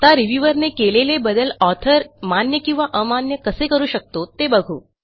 आता रिव्ह्यूअर ने केलेले बदल ऑथर मान्य किंवा अमान्य कसे करू शकतो ते बघू